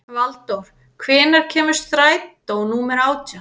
Valdór, hvenær kemur strætó númer átján?